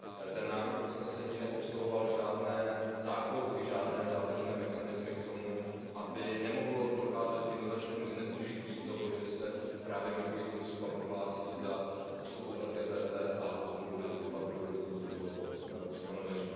Ten návrh usnesení neobsahoval žádné záklopky, žádné zádržné mechanismy k tomu, aby nemohlo docházet k jednoznačnému zneužití toho, že se právě migrující osoba prohlásí za osobu LGBT a potom bude doufat v dobrodiní tohoto ustanovení.